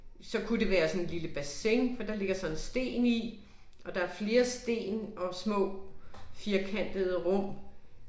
Så kunne det være sådan et lille bassin, for der ligger så en sten i, og der er flere sten og små firkantede rum